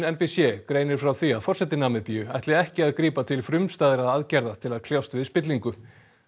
n b c greinir frá því að forseti Namibíu Hage ætli ekki að grípa til frumstæðra aðgerða til að kljást við spillingu